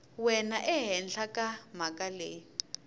wena ehenhla ka mhaka leyi